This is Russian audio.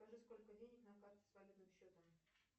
скажи сколько денег на карте с валютным счетом